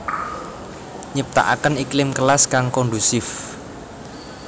Nyiptakaken iklim kelas kang kondusif